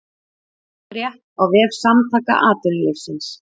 Frétt á vef Samtaka atvinnulífsins